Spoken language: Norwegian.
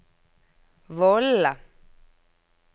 vollene